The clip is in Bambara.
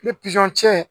Ni pizɔn cɛ